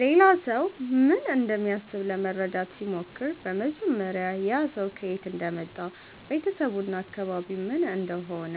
ሌላ ሰው ምን እንደሚያስብ ለመረዳት ሲሞክር በመጀመሪያ ያ ሰው ከየት እንደመጣ ቤተሰቡ እና አካባቢው ምን እንደሆነ